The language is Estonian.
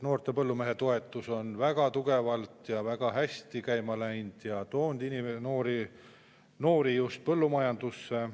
Noore põllumehe toetus on väga tugevalt ja väga hästi käima läinud ja toonud noori just põllumajandusse.